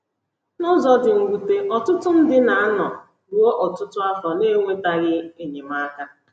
N’ụzọ dị mwute, ọtụtụ ndị na - anọ ruo ọtụtụ afọ n’enwetaghị enyemaka.